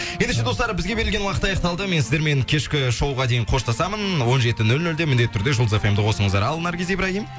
ендеше достар бізге берілген уақыт аяқталды мен сіздермен кешкі шоуға дейін қоштасамын ннн он жеті нөл нөлде міндетті түрде жұлдыз эф эм ді косыңыздар ал наргиз ибрагим